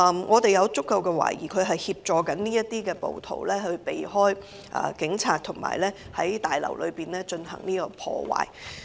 我們有足夠理由懷疑他正在協助該等暴徒避開警察，在大樓內進行破壞。